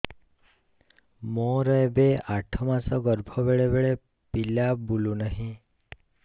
ମୋର ଏବେ ଆଠ ମାସ ଗର୍ଭ ବେଳେ ବେଳେ ପିଲା ବୁଲୁ ନାହିଁ